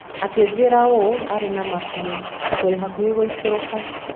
Akĩnjĩra ũũ arĩ na ma biũ: "Tũrĩ hakuhĩ gũikũrũka".